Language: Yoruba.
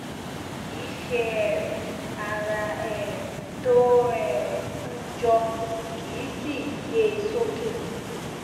kìí ṣe um ara um tó um hun jọ kìí sìí gbé e sókè